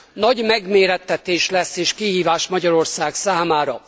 Nagy megmérettetés lesz és kihívás Magyarország számára.